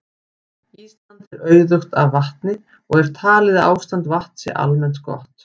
Ísland er auðugt af vatni og er talið að ástand vatns sé almennt gott.